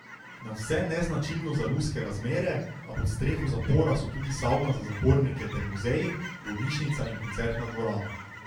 Nadvse neznačilno za ruske razmere, a pod streho zapora so tudi savna za zapornike ter muzej, bolnišnica in koncertna dvorana.